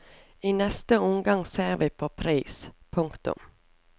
I neste omgang ser vi på pris. punktum